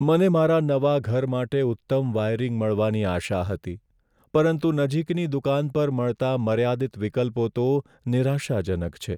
મને મારા નવા ઘર માટે ઉત્તમ વાયરિંગ મળવાની આશા હતી, પરંતુ નજીકની દુકાન પર મળતાં મર્યાદિત વિકલ્પો તો નિરાશાજનક છે.